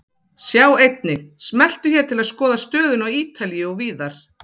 Sjá einnig: Smelltu hér til að skoða stöðuna á Ítalíu og víðar.